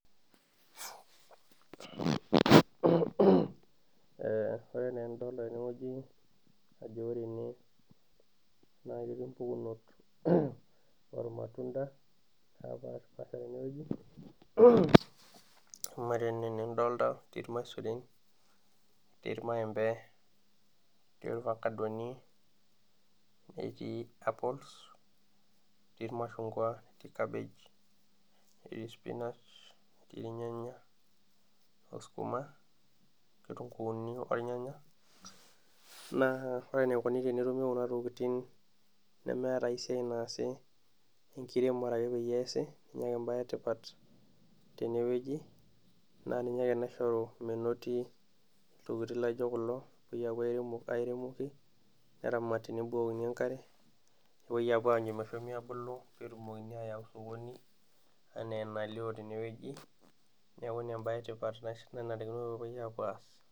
Ore naa ena enidolita teneweji naa ketii mpukunot ormatunda naapashipasha teneweji ,amu ore enaa enidolita ketii irmasurin ,ketii irmaembe ,netii ifakadoni netii capols ,netii irmashungua netii kabaj, netii inyanya netii spinach oskuma, netii nkitunkuuni ornyanya ,naa ore enikoni tenetumi kuna tokiting nemeeta ai siai naasi enkiremore ake peyie eesi ninye ake embae etipat teneweji naaninye ake naishoru menoti ltokiting laijo kulo oopoi apuo airemoki neramati nebukokini enkare nepuoi anyu meshomoito abulu pee etumokini ayau sokoni ena enalio teneweji neeku ninye embae etipat nanarikino peyie epuo aas.